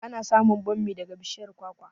Ana samun bammi daga bishiyar kwakwa